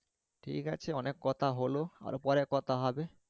ঠিকাছে অনেক কথা হলো আরও পড়ে কথা হবে